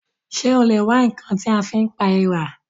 Ṣé o lè wá ǹkan tí a fi pa èèrà?